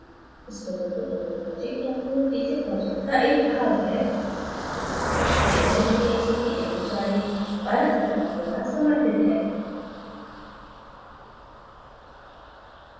spoken tutorial project talk to a teacher project का एक भाग है यह nmeict mhrd भारत सरकार द्वारा समर्थित है